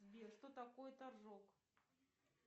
сбер что такое торжок